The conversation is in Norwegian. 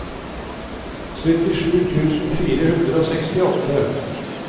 syttisju tusen fire hundre og sekstiåtte